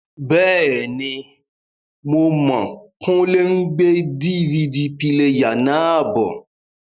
Bẹ́ẹ̀ni, Mo mọ̀ Kúnlé n gbé DVD píléyà náà bọ̀